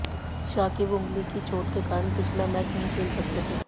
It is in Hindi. शाकिब ऊंगली की चोट के कारण पिछला मैच नहीं खेल सके थे